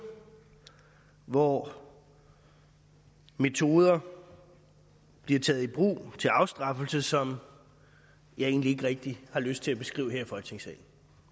hvor metoder bliver taget i brug til afstraffelse som jeg egentlig ikke rigtig har lyst til at beskrive her i folketingssalen